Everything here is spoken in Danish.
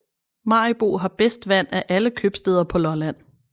Maribo har bedst vand af alle købstæder på Lolland